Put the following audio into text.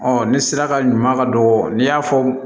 ni sira ka ɲuman ka don n'i y'a fɔ